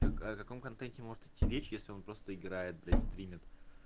так о каком контенте может идти речь если он просто играет блядь стримит